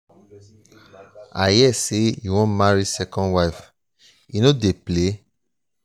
i hear say you wan marry second wife. you no dey play.